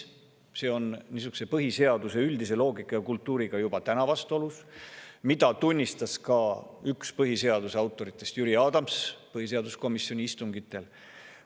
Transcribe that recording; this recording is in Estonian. See on põhiseaduse üldise loogika ja kultuuriga juba täna vastuolus, mida tunnistas ka üks põhiseaduse autoritest Jüri Adams põhiseaduskomisjoni istungitel.